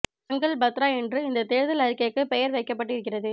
சங்கல்ப் பத்ரா என்று இந்த தேர்தல் அறிக்கைக்கு பெயர் வைக்கப்பட்டு இருக்கிறது